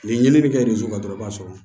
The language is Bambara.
Ni ɲinini bɛ kɛ ziro la dɔrɔn i b'a sɔrɔ